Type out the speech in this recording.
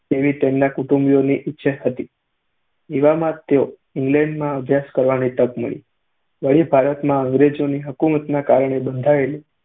તેવી તેમના કુંટુંબીઓની ઇચ્છા હતી. એવામાં જ તેમને ઇંગ્લેન્ડમાં અભ્યાસ કરવાની તક મળી. વળી, ભારતમાં અંગ્રેજોની હકૂમતના કારણે બંધાયેલી